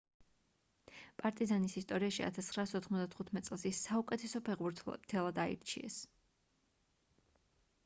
პარტიზანის ისტორიაში 1995 წელს ის საუკეთესო ფეხბურთელად აარჩიეს